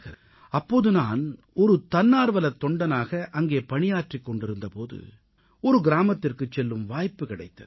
அப்போது நான் ஒரு தன்னார்வமுள்ளத் தொண்டனாக அங்கே பணியாற்றிக் கொண்டிருந்த போது ஒரு கிராமத்திற்குச் செல்லும் வாய்ப்பு கிடைத்தது